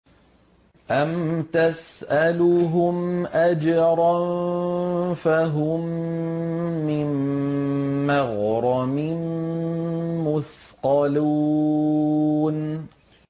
أَمْ تَسْأَلُهُمْ أَجْرًا فَهُم مِّن مَّغْرَمٍ مُّثْقَلُونَ